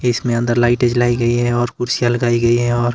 इसमें अंदर लाइटें जलाई गई है और कुर्सियां लगाई गई है और--